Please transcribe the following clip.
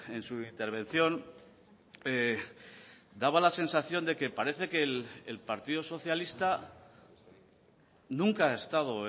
en su intervención daba la sensación de que parece que el partido socialista nunca ha estado